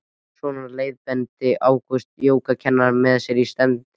Svona leiðbeindi Ágústa jógakennari mér í sefandi tón.